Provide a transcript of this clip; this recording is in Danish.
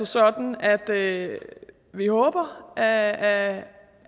sådan at vi håber at